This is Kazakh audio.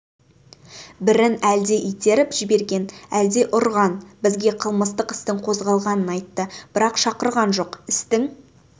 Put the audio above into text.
бірін әлде итеріп жіберген әлде ұрған бізге қылмыстық істің қозғалғанын айтты бірақ шақырған жоқ істің